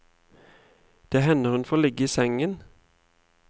Det hender hun får ligge i sengen.